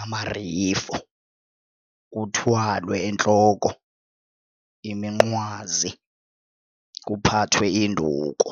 amarifo kuthwalwe entloko iminqwazi kuphathwe induku.